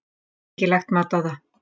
Ég get ekki lagt mat á það.